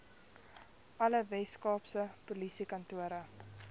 alle weskaapse polisiekantore